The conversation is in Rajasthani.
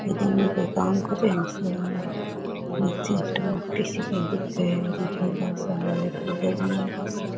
ये दोनों कोई काम कर रहे है मशीना मे --